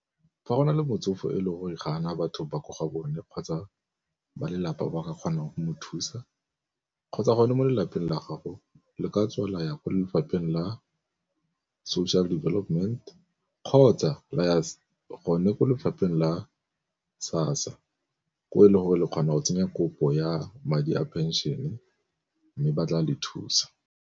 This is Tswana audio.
Fa go na le motsofe e leng gore ga ana batho ba ko gabone kgotsa ba lelapa ba ka kgonang mo thusa, kgotsa gone mo lelapeng la gago le ka tswa la ya kwa lefapheng la social development kgotsa la ya gone kwa lefapheng la SASSA ko e le gore le kgona go tsenya kopo ya madi a pension-e mme ba tla le thusa.